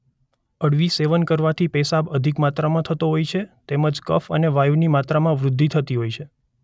અળવી સેવન કરવાથી પેશાબ અધિક માત્રામાં થતો હોય છે તેમજ કફ અને વાયુની માત્રામાં વૃદ્ધિ થતી હોય છે.